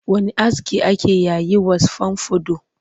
Wani aski ake yayi was fomfado